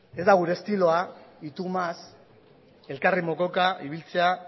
ez da gure estiloa y tu más elkarri mokoka ibiltzea